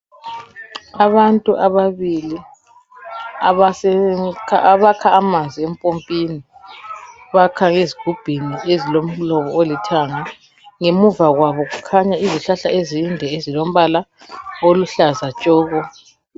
Abantu ababili abase abakha amanzi empompini, bakha ngezigubhini ezilomlomo olithanga ngemuva kwabo kukhanya izihlahla ezinde ezilombala oluhlaza tshoko.